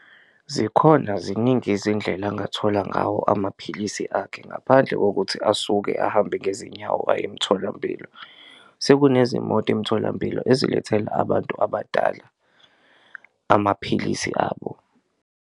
Zikhona ziningi izindlela angathola ngawo amaphilisi akhe ngaphandle kokuthi asuke ahambe ngezinyawo aye emtholampilo, sekunezimoto emtholampilo ezilethela abantu abadala amaphilisi abo.